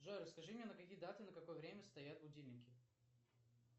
джой расскажи мне на какие даты на какое время стоят будильники